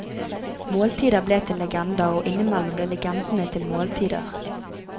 Måltider ble til legender, og innimellom ble legendene til måltider.